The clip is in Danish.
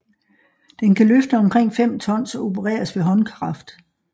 Den kan løfte omkring 5 tons og opereres ved håndkraft